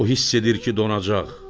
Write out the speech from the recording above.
O hiss edir ki, donacaq.